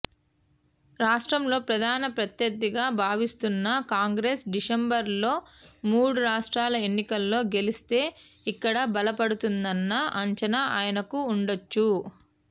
రాష్ట్రంలో ప్రధాన ప్రత్యర్థిగా భావిస్తున్న కాంగ్రెస్ డిసెంబర్లో మూడు రాష్ట్రాల ఎన్నికల్లో గెలిస్తే ఇక్కడా బలపడుతుందన్న అంచనా ఆయనకు వుండొచ్చు